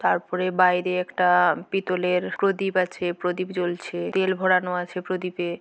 তারপরে বাইরে একটা পিতলের প্রদীপ আছে প্রদীপ জ্বলছে তেল ভরানো আছে প্রদীপে--